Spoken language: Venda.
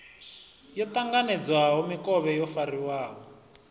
yo ṱanganedzwaho mikovhe yo fariwaho